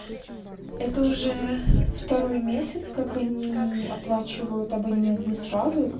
это уже второй месяц как они оплачивают абонемент не сразу